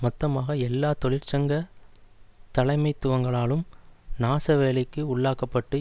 மொத்தமாக எல்லா தொழிற்சங்க தலைமைத்துவங்களாலும் நாசவேலைக்கு உள்ளாக்க பட்டு